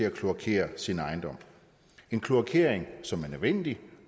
at kloakere sin ejendom en kloakering som er nødvendig